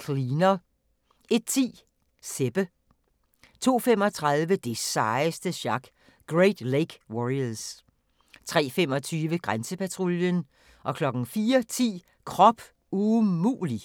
Cleaner 01:10: Sebbe 02:35: Det sejeste sjak – Great Lake Warriors 03:25: Grænsepatruljen 04:10: Krop umulig!